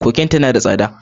Cocaine tana da tsada.